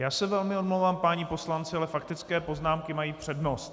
Já se velmi omlouvám, páni poslanci, ale faktické poznámky mají přednost.